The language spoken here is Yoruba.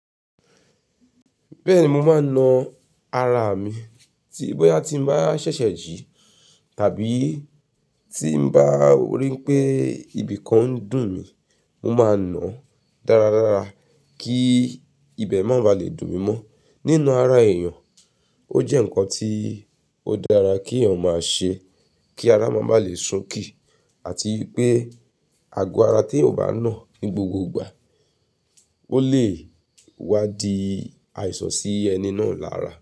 Bẹ́ẹ̀ni mo máa ń na ara mi, tí bóyá tí mo bá ṣẹ̀ṣẹ̀ jí tàbí tí mo bá rí pé ibìkan ń dùn mí, mo máa na dáradára kí ibẹ̀ má ba lè dùn mí mọ́. Ní ná ara èèyàn ó jẹ́ nǹkan tí ó dára kí èèyàn máa ṣe, kí ara má màa lè sunkì, àti pé àgò ara tí èèyàn bá nà ní gbogbo ìgbà. Ó lè wá di àìsàn sí ẹni náà lára.